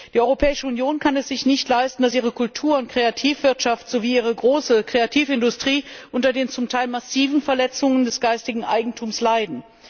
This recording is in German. Die Europäische Union kann es sich nicht leisten, dass ihre Kultur und Kreativwirtschaft sowie ihre große Kreativindustrie unter den zum Teil massiven Verletzungen des geistigen Eigentums leiden.